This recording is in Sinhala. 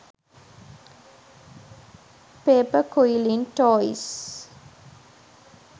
paper quilling toys